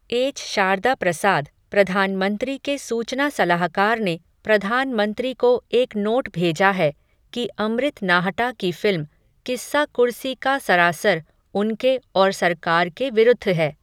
H Sharada Prasad, प्रधानमंत्री के सूचना सलाहकार ने, प्रधानमंत्री को एक नोट भेजा है, कि अमृत नाहटा की फ़िल्म, किस्सा कुर्सी का सरासर, उनके, और सरकार के विरूद्ध है